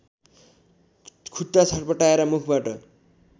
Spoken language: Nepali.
खुट्टा छटपटाएर मुखबाट